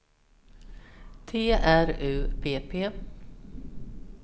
T R U P P